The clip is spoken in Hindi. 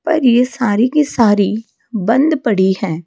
पर ये सारी की सारी बन्द पड़ी है।